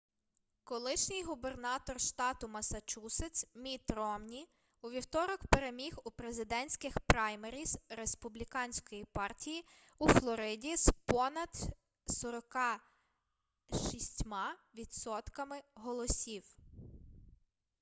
колишній губернатор штату массачусетс мітт ромні у вівторок переміг у президентських праймеріз республіканської партії у флориді з понад 46 відсотками голосів